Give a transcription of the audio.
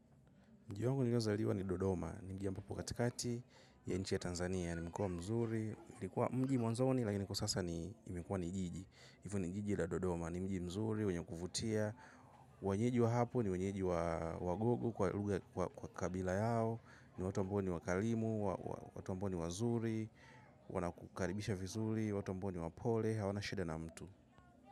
Mji wangu niliozaliwa ni Dodoma, ni mji mpana katikati ya nchi ya Tanzania, ni mkubwa mzuri, ulikuwa mji mdogo mwanzoni lakini kwa sasa umekuwa ni jiji. Yifu nigiji ila Dodoma, ni mji mzuri, wenye kufutia, wanyeji wa hapo ni wanyeji wa gugu kwa kabila yao, ni watu mponi wakalimu, watu mponi wazuri, wanakukaribisha fizuli, watu mponi wapole, hawana sheda na mtu.